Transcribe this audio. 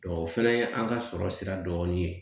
o fɛnɛ ye an ka sɔrɔ sira dɔ ye